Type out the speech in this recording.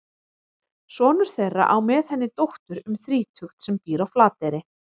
Sonur þeirra á með henni dóttur um þrítugt sem býr á Flateyri.